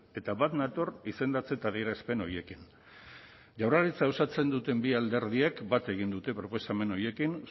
eta bat nator izendatze eta adierazpen horiekin jaurlaritza osatzen duten bi alderdiek bat egin dute proposamen horiekin